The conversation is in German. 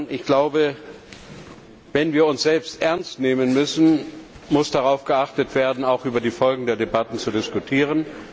Ich glaube, wenn wir uns selbst ernst nehmen wollen, muss darauf geachtet werden, auch über die Folgen der Debatten zu diskutieren.